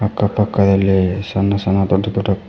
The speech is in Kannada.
ಅಕ್ಕ ಪಕ್ಕದಲ್ಲಿ ಸಣ್ಣ ಸಣ್ಣ ದೊಡ್ಡ ದೊಡ್ಡ--